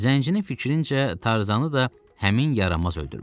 Zəncinin fikrincə, Tarzanı da həmin yaramaz öldürmüşdü.